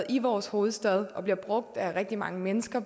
i vores hovedstad og bliver brugt af rigtig mange mennesker